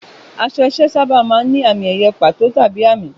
Aṣọ iṣẹ́ sábà máa ń ní àmì-ẹ̀yẹ pàtó tàbí àmì.